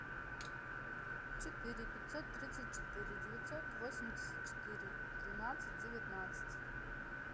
четыре пятьсот тридцать четыре девятьсот восемьдесят четыре тринадцать девятнадцать